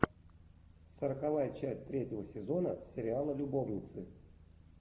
сороковая часть третьего сезона сериала любовницы